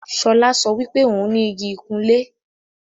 Ṣọlá sọ wípé òún ní Igi ìkunlé